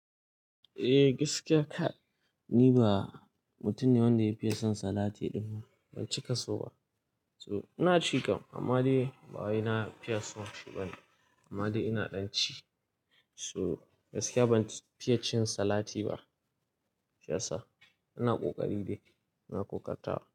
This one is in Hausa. Eh gaskiya ka, ni ba mutum ne wanda ya fiye son salati dinnan. Ban cika so ba. So ina cika, amma dai bawai na fiye son shi ba ne. Amma dai ina ɗan ci. So gaskiya ban fiye cin salati ba. Fiye sa, ina ƙoƙari dai, ina ƙoƙa tawa.